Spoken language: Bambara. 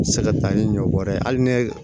Se ka taa ni ɲɔ bɔrɛ ye hali ne